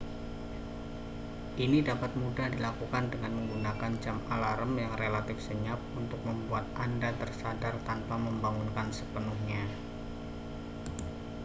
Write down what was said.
ini dapat mudah dilakukan dengan menggunakan jam alarm yang relatif senyap untuk membuat anda tersadar tanpa membangunkan sepenuhnya